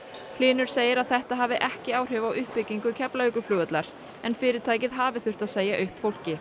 hlynur segir að þetta hafi ekki áhrif á uppbyggingu Keflavíkurflugvallar en fyrirtækið hafi þurft að segja upp fólki